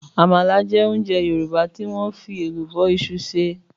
Àmàlà jẹ́ oúnjẹ Yòrùbá tí wọ́n fi Ẹ̀lùbọ́ isu se.